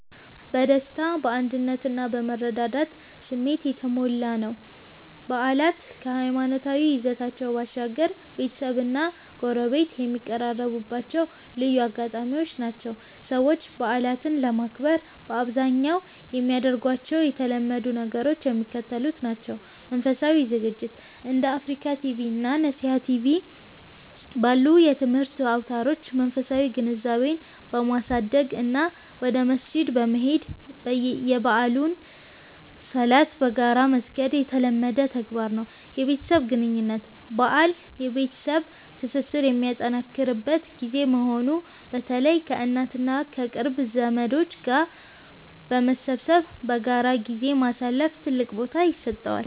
በደስታ፣ በአንድነት እና በመረዳዳት ስሜት የተሞላ ነው። በዓላት ከሃይማኖታዊ ይዘታቸው ባሻገር፣ ቤተሰብና ጎረቤት የሚቀራረቡባቸው ልዩ አጋጣሚዎች ናቸው። ሰዎች በዓላትን ለማክበር በአብዛኛው የሚያደርጓቸው የተለመዱ ነገሮች የሚከተሉት ናቸው፦ መንፈሳዊ ዝግጅት፦ እንደ አፍሪካ ቲቪ እና ነሲሃ ቲቪ ባሉ የትምህርት አውታሮች መንፈሳዊ ግንዛቤን በማሳደግ እና ወደ መስጂድ በመሄድ የበዓሉን ሶላት በጋራ መስገድ የተለመደ ተግባር ነው። የቤተሰብ ግንኙነት፦ በዓል የቤተሰብ ትስስር የሚጠናከርበት ጊዜ በመሆኑ፣ በተለይ ከእናት እና ከቅርብ ዘመዶች ጋር በመሰብሰብ በጋራ ጊዜ ማሳለፍ ትልቅ ቦታ ይሰጠዋል።